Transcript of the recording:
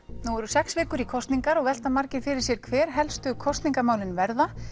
nú eru sex vikur í kosningar og velta margir fyrir sér hver helstu kosningamálin verða